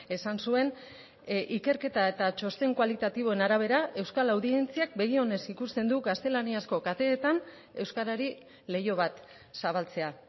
esan zuen ikerketa eta txosten kualitatiboen arabera euskal audientziak begionez ikusten du gaztelaniazko kateetan euskarari leiho bat zabaltzea